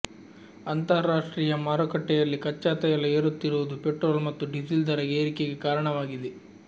ಅಂತಾರಾಷ್ಟ್ರೀಯ ಮಾರುಕಟ್ಟೆಯಲ್ಲಿ ಕಚ್ಚಾ ತೈಲ ಏರುತ್ತಿರುವುದು ಪೆಟ್ರೋಲ್ ಮತ್ತು ಡೀಸೆಲ್ ದರ ಏರಿಕೆಗೆ ಕಾರಣವಾಗಿದೆ